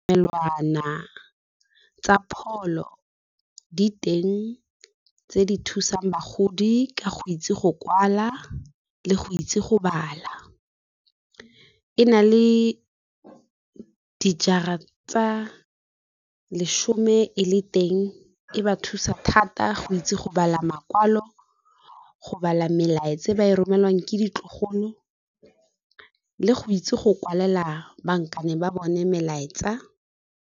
Tsa pholo di teng tse di thusang bagodi ka go itse go kwala le go itse go bala. E na le dijara tsa leshome e le teng, e ba thusa thata go itse go bala makwalo, go bala melaetsa e ba e romelwang ke ditlogolo le go itse go kwalela bankane ba bone melaetsa.